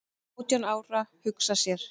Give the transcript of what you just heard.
"""Átján ára, hugsa sér!"""